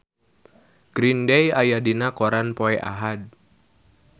Green Day aya dina koran poe Ahad